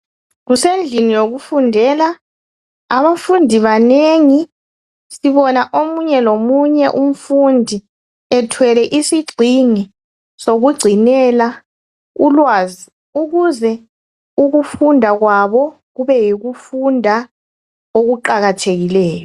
Kusendlini yokufundela abafundi banengi sibona omunye lomunye umfundi ethwele isigxingi sokungcinela ukwazi ukuze ukufunda kwabo kube yikufunda okuqakathekileyo